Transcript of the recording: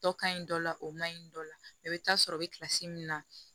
Dɔ ka ɲi dɔ la o man ɲi dɔ la i bɛ taa sɔrɔ i bɛ min na